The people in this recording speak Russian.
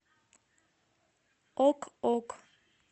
ок ок